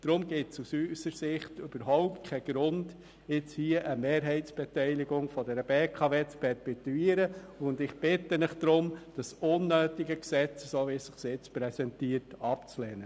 Deshalb gibt es aus unserer Sicht überhaupt keinen Grund, nun hier eine Mehrheitsbeteiligung der BKW zu perpetuieren, und ich bitte Sie darum, das unnötige Gesetz, wie es sich nun präsentiert, abzulehnen.